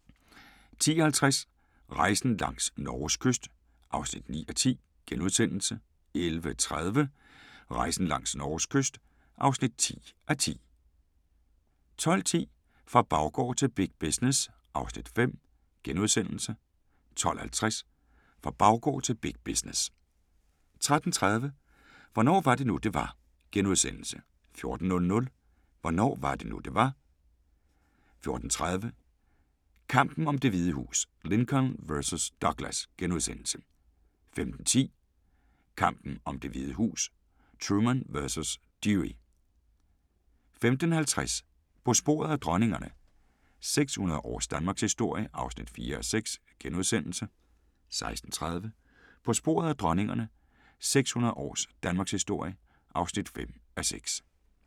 10:50: Rejsen langs Norges kyst (9:10)* 11:30: Rejsen langs Norges kyst (10:10) 12:10: Fra baggård til big business (Afs. 5)* 12:50: Fra baggård til big business 13:30: Hvornår var det nu, det var? * 14:00: Hvornår var det nu, det var? 14:30: Kampen om Det Hvide Hus: Lincoln vs. Douglas * 15:10: Kampen om Det Hvide Hus: Truman vs. Dewey 15:50: På sporet af dronningerne – 600 års Danmarkshistorie (4:6)* 16:30: På sporet af dronningerne – 600 års Danmarkshistorie (5:6)